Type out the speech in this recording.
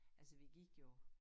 Altså vi gik jo